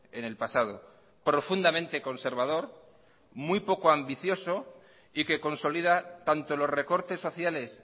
en el pasado profundamente conservador muy poco ambicioso y que consolida tanto los recortes sociales